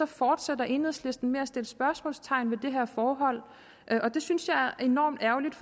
fortsætter enhedslisten med at sætte spørgsmålstegn ved det her forhold og det synes jeg er enormt ærgerligt